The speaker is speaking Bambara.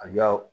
A ka